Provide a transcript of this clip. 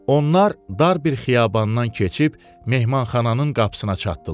Onlar dar bir xiyabandan keçib mehmanxananın qapısına çatdılar.